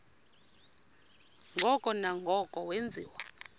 ngoko nangoko wenziwa